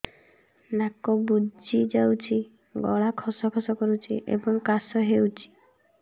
ନାକ ବୁଜି ଯାଉଛି ଗଳା ଖସ ଖସ କରୁଛି ଏବଂ କାଶ ହେଉଛି